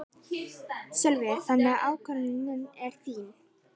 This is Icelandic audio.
Sölvi: Þannig að ákvörðunin er þín?